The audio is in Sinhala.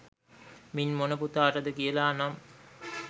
මින් මොන පුතාටද කියල නම්